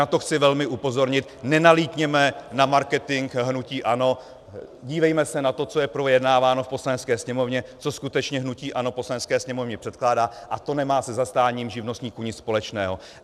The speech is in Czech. Na to chci velmi upozornit: Nenalítněme na marketing hnutí ANO, dívejme se na to, co je projednáváno v Poslanecké sněmovně, co skutečně hnutí ANO Poslanecké sněmovně předkládá, a to nemá se zastáním živnostníků nic společného.